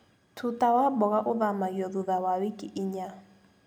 Tuta wa mboga ũthamagio thutha wa wiki inya.